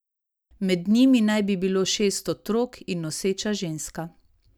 Med njimi naj bi bilo šest otrok in noseča ženska.